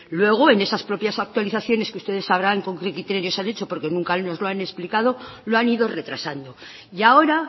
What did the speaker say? luego en esas propias actualizaciones que ustedes sabrán con qué criterios se han hecho porque nunca nos los han explicado lo han ido retrasando y ahora